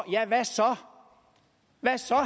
hvad så